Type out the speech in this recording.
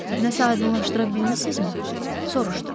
Nəsə aydınlaşdıra bilmisinizmi?